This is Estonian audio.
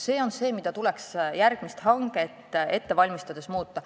See on see, mida tuleks järgmist hanget ette valmistades muuta.